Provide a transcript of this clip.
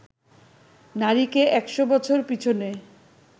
নারীকে একশ বছর পিছনে